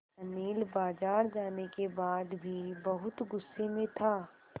अनिल बाज़ार जाने के बाद भी बहुत गु़स्से में था